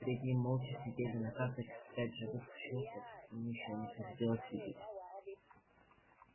перед ним молча сидели на карточках пять живых существ таких ему ещё не приходилось видеть